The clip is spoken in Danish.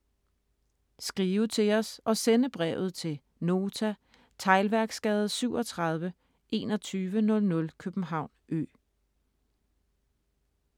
Skrive til os og sende brevet til: Nota, Teglværksgade 37, 2100 København Ø